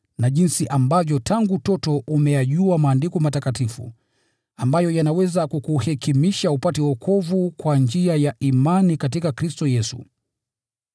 na jinsi ambavyo tangu utoto umeyajua Maandiko matakatifu, ambayo yanaweza kukuhekimisha upate wokovu kwa njia ya imani katika Kristo Yesu.